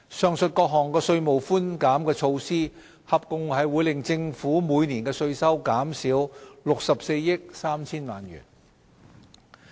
上述各項稅務寬減措施合共會令政府每年的稅收減少64億 3,000 萬元。